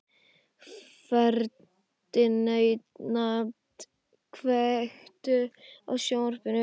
Ferdinand, kveiktu á sjónvarpinu.